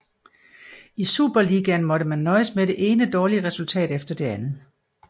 I superligaen måtte man nøjes med det ene dårlige resultat efter det andet